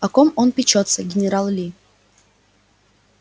о ком он печётся генерал ли